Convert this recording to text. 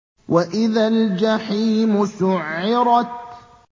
وَإِذَا الْجَحِيمُ سُعِّرَتْ